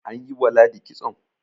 an yi wa ladi kitson?